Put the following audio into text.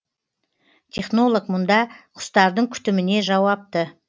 технолог мұнда құстардың күтіміне жауапты